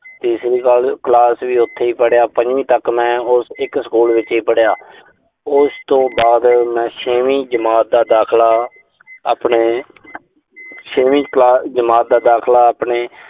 ਤੀਸਰੀ ਕਲਾਸ ਵੀ ਉਥੇ ਹੀ ਪੜਿਆ। ਪੰਜਵੀਂ ਤੱਕ ਮੈਂ ਉਸ, ਇੱਕ ਸਕੂਲ ਵਿੱਚ ਹੀ ਪੜਿਆ। ਉਸ ਤੋਂ ਬਾਅਦ ਮੈਂ ਛੇਵੀਂ ਜਮਾਤ ਦਾ ਦਾਖਲਾ, ਆਪਣੇ ਛੇਵੀਂ ਕਲਾ ਅਹ ਜਮਾਤ ਦਾ ਦਾਖਲਾ ਆਪਣੇ